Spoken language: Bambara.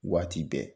Waati bɛɛ